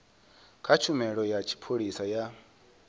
kha tshumelo ya tshipholisa ya